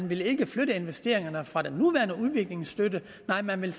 ville flytte investeringerne fra den nuværende udviklingsstøtte nej man ville